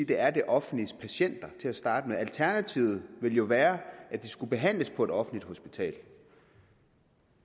de er det offentliges patienter til at starte med alternativet ville jo være at de skulle behandles på et offentligt hospital